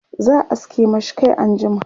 za'a aske mashi Kai anjima